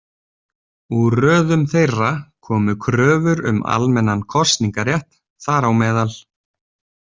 Úr röðum þeirra komu kröfur um almennan kosningarétt, þ.á m.